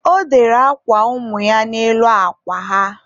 ọ dere akwa ụmụ ya n'elu akwa ha.